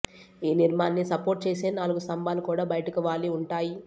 ఈ నిర్మాన్ని సపోర్ట్ చేసే నాలుగు స్తంభాలు కూడా బయటకు వాలి వుంటాయి